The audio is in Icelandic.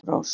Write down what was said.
Bergrós